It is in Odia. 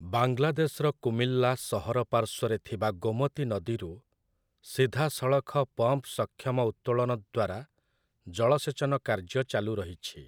ବାଂଲାଦେଶର କୁମିଲ୍ଲା ସହର ପାର୍ଶ୍ୱରେ ଥିବା ଗୋମତୀ ନଦୀରୁ, ସିଧାସଳଖ ପମ୍ପ ସକ୍ଷମ ଉତ୍ତୋଳନ ଦ୍ୱାରା ଜଳସେଚନ କାର୍ଯ୍ୟ ଚାଲୁରହିଛି ।